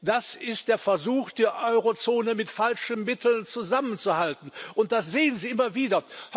Das ist der Versuch, die Eurozone mit falschen Mitteln zusammenzuhalten, und das sehen Sie immer wieder.